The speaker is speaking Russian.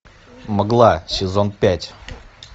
мгла сезон пять